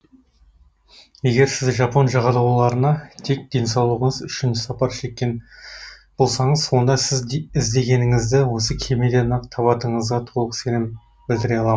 егер сіз жапон жағалауларына тек денсаулығыңыз үшін сапар шеккен болсаңыз онда сіз іздегеніңізді осы кемеден ақ табатыныңызға толық сенім білдіре алам